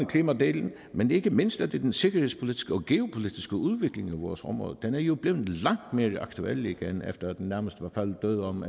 klimadelen men ikke mindst er det den sikkerhedspolitiske og geopolitiske udvikling i vores område den er jo blevet langt mere aktuel igen efter at den nærmest var faldet død om